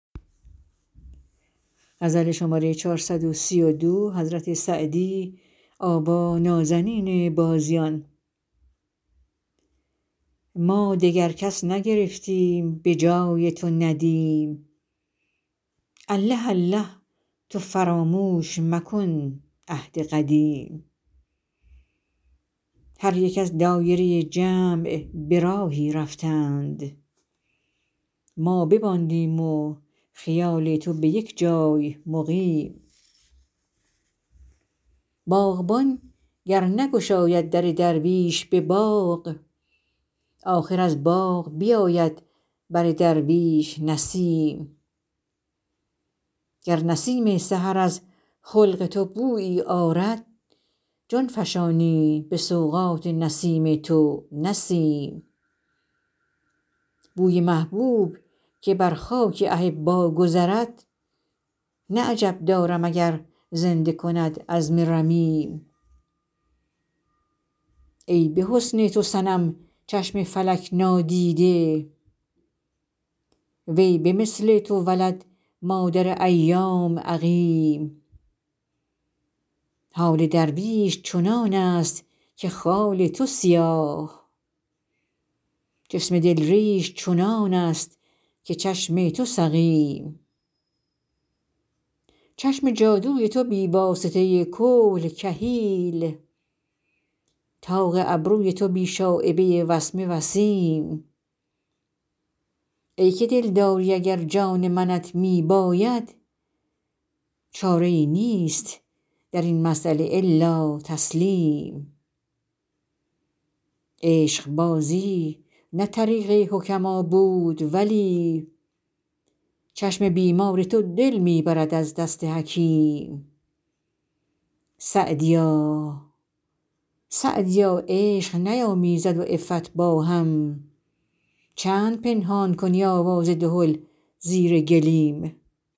ما دگر کس نگرفتیم به جای تو ندیم الله الله تو فراموش مکن عهد قدیم هر یک از دایره جمع به راهی رفتند ما بماندیم و خیال تو به یک جای مقیم باغبان گر نگشاید در درویش به باغ آخر از باغ بیاید بر درویش نسیم گر نسیم سحر از خلق تو بویی آرد جان فشانیم به سوغات نسیم تو نه سیم بوی محبوب که بر خاک احبا گذرد نه عجب دارم اگر زنده کند عظم رمیم ای به حسن تو صنم چشم فلک نادیده وی به مثل تو ولد مادر ایام عقیم حال درویش چنان است که خال تو سیاه جسم دل ریش چنان است که چشم تو سقیم چشم جادوی تو بی واسطه کحل کحیل طاق ابروی تو بی شایبه وسمه وسیم ای که دلداری اگر جان منت می باید چاره ای نیست در این مسأله الا تسلیم عشقبازی نه طریق حکما بود ولی چشم بیمار تو دل می برد از دست حکیم سعدیا عشق نیامیزد و عفت با هم چند پنهان کنی آواز دهل زیر گلیم